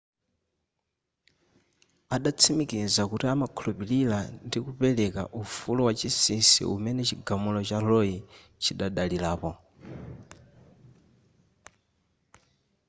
adatsimikizaso kuti amakhulupilira ndi kupereka ufulu wachinsisi umene chigamulo cha roe chidadalirapo